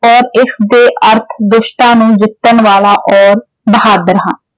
ਔਰ ਇਸ ਦੇ ਅਰਥ ਦੁਸ਼ਟਾਂ ਨੂੰ ਜਿੱਤਣ ਵਾਲਾ ਔਰ ਬਹਾਦੁਰ ਹਾਂ।